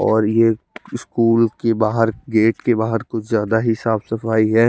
ओर ये स्कूल की बाहर गेट के बाहर कुछ ज्यादा ही साफ सफाई है।